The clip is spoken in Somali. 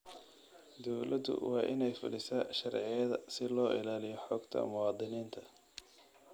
Dawladdu waa inay fulisaa sharciyada si loo ilaaliyo xogta muwaadiniinta.